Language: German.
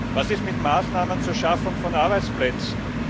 Was ist mit Maßnahmen zur Schaffung von Arbeitsplätzen?